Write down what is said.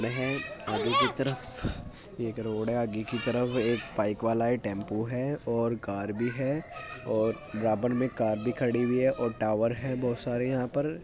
आगे की तरफ एक रोड है आगे की तरफ एक बाइक वाला है टेम्पो है और कार भी है और बराबर मे कार भी खड़ी हुई है और टावर बहुत सारे यहाँ पर --